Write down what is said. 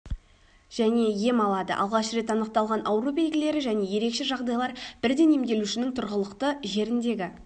және ем алады алғаш рет анықталған ауру белгілері және ерекше жағдайлар бірден емделушінің тұрғылықты жеріндегі